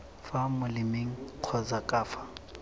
fa molemeng kgotsa ka fa